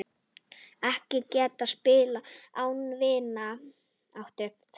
Ekkert gat spillt vináttu þeirra.